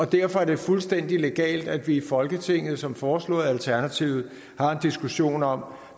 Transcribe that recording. derfor er det fuldstændig legalt at vi i folketinget som foreslået af alternativet har en diskussion om